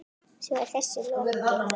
Svo er þessu lokið?